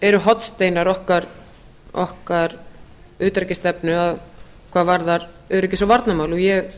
eru hornsteinar okkar utanríkisstefnu hvað varðar öryggis og varnarmál ég